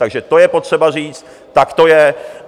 Takže to je potřeba říct, tak to je!